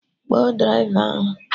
Kpọọ draịva ahụ!